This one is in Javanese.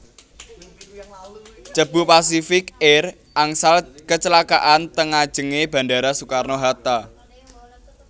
Cebu Pacific Air angsal kecelakaan teng ngajeng e bandara Soekarno Hatta